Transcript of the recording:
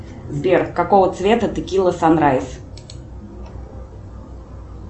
сбер какого цвета текила санрайз